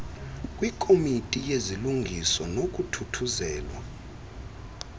kwikomiti yezilungiso nokuthuthuzelwa